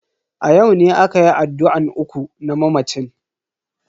A yau ne akayi addu'an uku na mamacin.